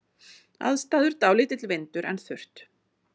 Aðstæður: Dálítill vindur en þurrt.